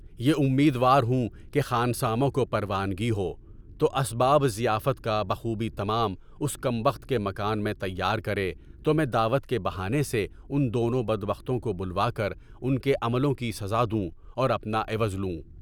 یے امیدوار ہوں کہ خانساماں کو پروآنگی ہو، تو اسباب ضیافت کا بخوبی تمام اس کم بخت کے مکان میں تیار کرے تو میں دعوت کے بہانے سے ان دونوں بد بختوں کو بلوا کر ان کے عملوں کی سزا دوں اور اپنا عوض لوں۔